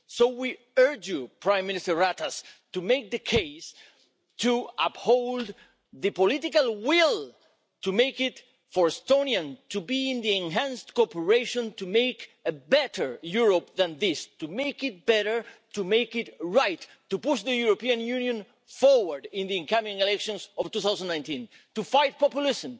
So we urge you, Prime Minister Ratas, to make the case to uphold the political will for Estonians to be part of the enhanced cooperation to make a better Europe than this, to make it better, to make it right, to push the European Union forward in the coming elections of 2019, and to fight populism,